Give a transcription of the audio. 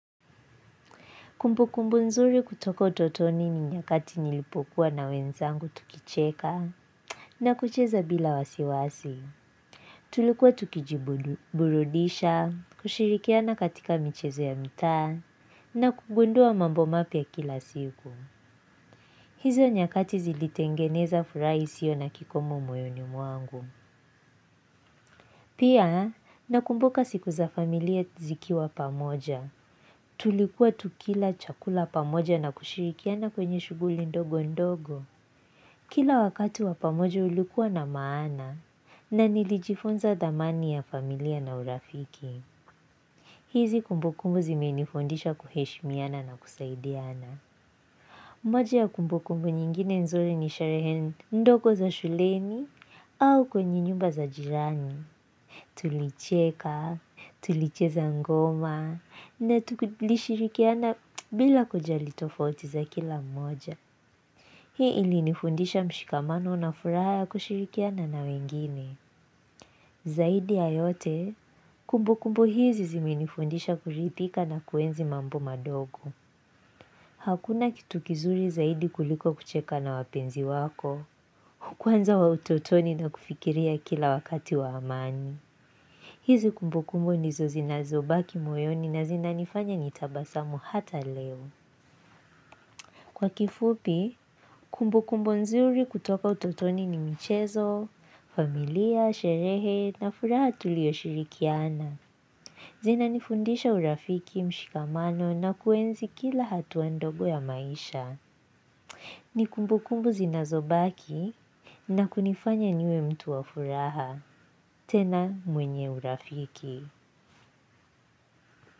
Kumbukumbu nzuri kutoka utotoni ni nyakati nilipokuwa na wenzangu tukicheka na kucheza bila wasiwasi. Tulikuwa tukiji burudisha, kushirikiana katika michezo ya mitaa na kugundua mambo mapya kila siku. Hizo nyakati zilitengeneza furaha isio na kikomo moyoni mwangu. Pia nakumbuka siku za familia zikiwa pamoja. Tulikuwa tukila chakula pamoja na kushirikiana kwenye shughuli ndogo ndogo. Kila wakati wa pamoja ulikuwa na maana na nilijifunza dhamani ya familia na urafiki. Hizi kumbukumbu zimenifundisha kuheshimiana na kusaidiana. Moja ya kumbukumbu nyingine nzuri ni sharehe ndogo za shulemi au kwenye nyumba za jirani. Tulicheka, tulicheza ngoma, na tulishirikiana bila kujali tofauti za kila mmoja. Hii ilinifundisha mshikamano na furaha ya kushirikiana na wengine. Zaidi ya yote, kumbukumbu hizi ziminifundisha kuridhika na kuenzi mambo madogo. Hakuna kitu kizuri zaidi kuliko kucheka na wapenzi wako, kwanza wa utotoni na kufikiria kila wakati wa amani. Hizi kumbukumbu nizo zinazobaki moyoni na zinanifanya nitabasamu hata leo. Kwa kifupi, kumbu kumbu nzuri kutoka utotoni ni michezo, familia, sherehe na furaha tulioshirikiana. Zinanifundisha urafiki mshikamano na kuenzi kila hatua ndogo ya maisha. Ni kumbu kumbu zinazobaki na kunifanya niwe mtu wa furaha. Tena mwenye urafiki.